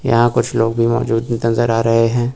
यहां कुछ लोग भी मौजूद नजर आ रहे हैं।